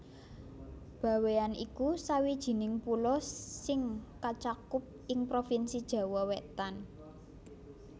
Bawean iku sawijining pulo sing kacakup ing provinsi Jawa Wétan